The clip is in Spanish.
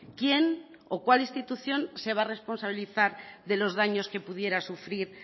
quién o cuál institución se va a responsabilizar de los daños que pudiera sufrir